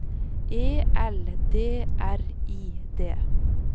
E L D R I D